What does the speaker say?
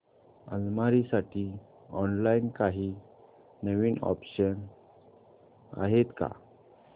अलमारी साठी ऑनलाइन काही नवीन ऑप्शन्स आहेत का